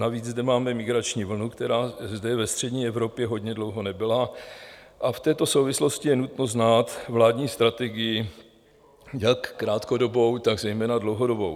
Navíc zde máme migrační vlnu, která zde ve střední Evropě hodně dlouho nebyla, a v této souvislosti je nutno znát vládní strategii jak krátkodobou, tak zejména dlouhodobou.